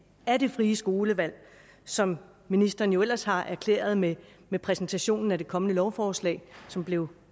af det frie skolevalg som ministeren jo ellers har erklæret med med præsentationen af det kommende lovforslag som blev